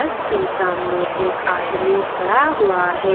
बस के सामने एक आदमी खड़ा हुआ है।